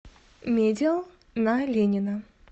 медиал на ленина